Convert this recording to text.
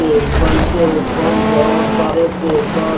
table के ऊपर बहुत सारे पेपर --